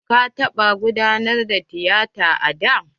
Ka taɓa gudanar da tiyata a da?